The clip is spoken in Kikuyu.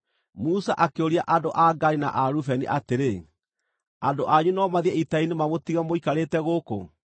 Musa akĩũria andũ a Gadi na a Rubeni atĩrĩ, “Andũ anyu no mathiĩ ita-inĩ mamũtige mũikarĩte gũkũ?